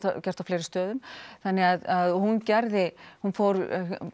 gert á fleiri stöðum þannig hún gerði hún fór